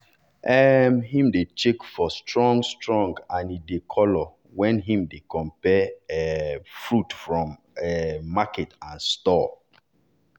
um him dey check for strong-strong and di color when him dey compare um fruit from um market and store